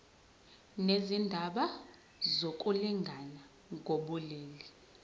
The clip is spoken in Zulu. nezindaba zokulingana ngokobulili